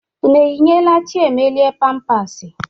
Unu eyinyeela Chiemelie pampasị?